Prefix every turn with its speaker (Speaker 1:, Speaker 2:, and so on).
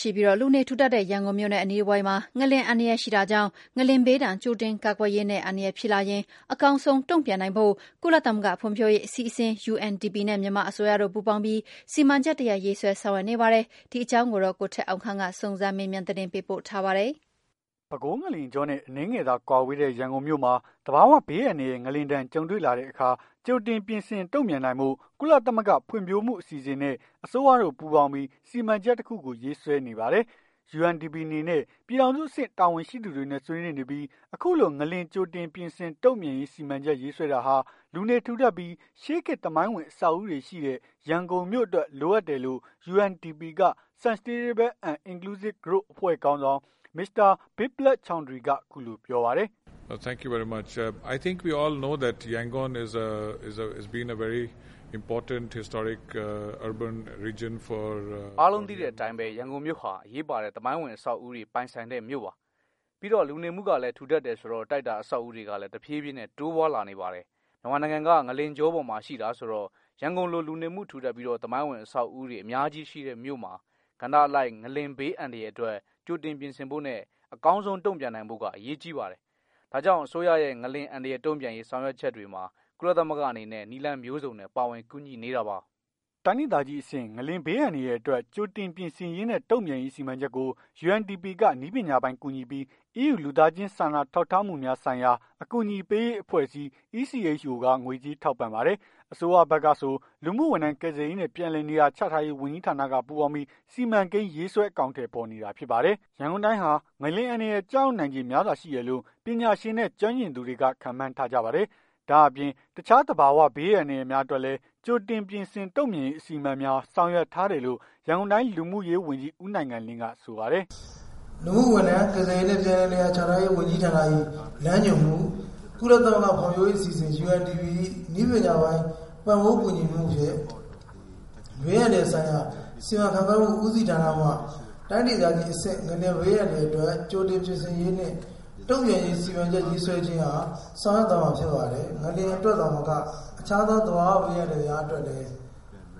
Speaker 1: ရှိပြီး လူနေထူထပ်တဲ့ ရန်ကုန်မြို့နဲ့ အနီးတဝိုက်မှာ ငလျှင်အန္တရာယ်ရှိတာကြောင့်၊ ငလျှင်ဘေးဒဏ် ကြိုတင်ကာကွယ်ရေးနဲ့ အန္တရာယ်ဖြစ်လာရင် အကောင်းဆုံးတုန့်ပြန်နိုင်ဖို့ ကုလသမဂ္ဂဖွံဖြိုးရေးအစီအစဉ် UNDP နဲ့ မြန်မာအစိုးရတို့ ပူးပေါင်းပြီး စီမံချက်တရပ် ရေးဆွဲဆောင်ရွက်နေပါပြီ။ ဒီ အခြေအနေနဲ့ပတ်သက်လို့ ဗွီအိုအေ သတင်းထောက် ကိုထက်အောင်ခန့်က စုံစမ်းမေးမြန်းပြီး သတင်းပေးပို့ထားပါတယ်။ ပဲခူးငလျင်ကြောနဲ့ အနည်းငယ်သာ ကွာဝေးတဲ့ ရန်ကုန်မြို့မှာ သဘာဝဘေးအန္တရာယ် ငလျင်ဒဏ် ကြုံတွေ့ လာတဲ့အခါမှာ ကြိုတင်ပြင်ဆင်တုံ့ပြန်နိုင်ဖို့ ကုလသမဂ္ဂဖွံ့ဖြိုးမှုအစီအစဉ်နဲ့ အစိုးရတို့ ပူးပေါင်းပြီး စီမံချက်တခုကို ရေးဆွဲနေပါတယ်။ UNDP အနေနဲ့ ပြည်ထောင် စုအဆင့် တာဝန်ရှိသူတွေနဲ့ ဆွေးနွေးနေပြီး အခုလို ငလျင် ကြိုတင်ပြင်ဆင် တုံ့ပြန်ရေး စီမံချက်ရေးဆွဲတာဟာ လူနေထူထပ်ပြီး ရှေးခေတ်သမိုင်းဝင် အဆောက်ဦးတွေရှိတဲ့ ရန်ကုန်မြို့အတွက် လိုအပ်တယ်ဆို့ UNDP က Sustainable and inclusive Growth အဖွဲ့ခေါင်းဆောင် Mr.Biplove Choudhary က အခုလို ပြောပါတယ်။ "အ
Speaker 2: ားလုံးသိတဲ့အတိုင်းပဲ ရန်ကုန်မြို့ဟာ အရေးပါတဲ့ သမိုင်းဝင်အဆောက်အဦးတွေပိုင်ဆိုင်တဲ့မြို့ပါ။ ပြီးတော့ လူနေမှုလည်းထူထပ်တယ်ဆိုတော့ တိုက်တာအဆောက်အဦးတွေကလည်း တဖြေးဖြေး တိုးပွားလာနေပါတယ်။ မြန်မာနိုင်ငံက ငလျင်ကြောပေါ်မှာရှိတာဆိုတော့ ရန်ကုန်လိုလူနေမှုထူထပ်ပြီး သမိုင်းဝင်အဆောက်အဦးတွေအများကြီးရှိတဲ့မြို့မှာ ကဏ္ဍအလိုက် ငလျင်ဘေးအန္တရာယ်အတွက် ကြိုတင်ပြင်ဆင်ဖို့နဲ့ အကောင်းဆုံးတုံ့ပြန်နိုင်ဖို့က အရေးကြီးပါတယ်။ ဒါကြောင့်အစိုးရရဲ့ ငလျင်အန္တရာယ်တုံပြန်ရေး ဆောင်ရွက်ချက်မှာ ကုလသမဂ္ဂအနေနဲ့ နည်းလမ်းမျိုးစုံနဲ့ ပါဝင်ကူညီနေတာပါ။
Speaker 1: " တိုင်းဒေသကြီးအဆင့် ငလျင်ဘေးအန္တရာယ်အတွက် ကြိုတင်ပြင်ဆင်ရေးနဲ့ တုံ့ပြန်ရေးစီမံချက်ကို UNDP က နည်းပညာပိုင်းကူညီပြီး EU လူသားချင်းဆိုင်ရာ စာနာထောက်ထားမှုများ ဆိုင်ရာ အကူအညီ ပေးရေး အဖွဲ့ အစည်း က ငွေကြေးထောက်ပံ့ပါတယ်။ အစိုးရဖက်ကဆို လူမှုဝန်ထမ်း ကယ်ဆယ်ရေးနဲ့ ပြန်လည် နေရာ ချထားရေး ဝန်ကြီးဌာနက ပူးပေါင်းပြီး စီမံကိန်း ရေးဆွဲ အကောင်အထည်ဖော်နေတာဖြစ်ပါတယ်။ ရန်ကုန်တိုင်းဟာ ငလျင်အန္တရာယ် ကျရောက်နိုင်ခြေ များစွာရှိတယ်လို့ ပညာရှင်နဲ့ ကျွမ်းကျင်သူတွေက ခန့်မှန်း ထားကြပါတယ်။ ဒါ့အပြင်တခြားသဘာ၀ ဘေးအန္တရာယ်များအတွက်လည်း ကြိုတင်ပြင်ဆင် တုံ့ပြန်ရေး အစီအမံများ ဆောင်ရွက် ထားတယ်လို့ ရန်ကုန်တိုင်း လူမှုရေးဝန်ကြီး ဦးနိုင်ငံလင်းက ဆိုပါတယ်။ " လူမှုဝန်ထမ်း ကယ်ဆယ်ရေးနှင့် ပြန်
Speaker 3: လည်နေရာ ချထားရေး ဝန်ကြီးဌာန၏ လမ်းညွှန်မှု ကုလသမဂ္ဂဖွံ့ဖြိုးမှု အစီအစဉ် ၏ နည်းပညာပိုင်း ပံ့ပိုးကူညီမှုဖြင့် ဘေးအန္တ ရာယ်ဆိုင်ရာ စီမံခန့်ခွဲမှုဦးစီဌာနမှ တိုင်းဒေသကြီးအဆင့် ငလျင်ဘေးအန္တရာယ်အတွက် ကြိုတင်ပြင်ဆင်ရေးနှင့် တုံ့ပြန်ရေး စီမံချက်ရေးဆွဲခြင်း အား ဆောင်ရွက်သွားမှာဖြစ်ပါတယ်။ ငလျင်အတွက်သာမက အခြားသော သဘာဝဘေးအန္တရာယ်များ အတွက်လည်း